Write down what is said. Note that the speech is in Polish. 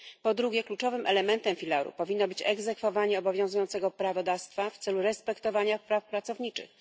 Po drugie, kluczowym elementem filaru powinno być egzekwowanie obowiązującego prawodawstwa w celu respektowania praw pracowniczych.